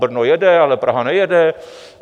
Brno jede, ale Praha nejede."